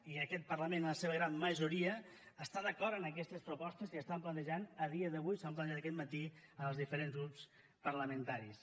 i aquest parlament en la seva gran majoria està d’acord amb aquestes propostes que s’estan planejant a dia d’avui s’han planejat aquest matí als diferents grups parlamentaris